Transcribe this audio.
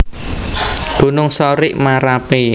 Gunung Sorik Marapi